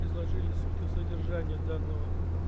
изложили суть и содержание данного